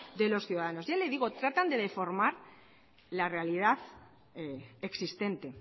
de los ciudadanos ya le digo tratan de deformar la realidad existente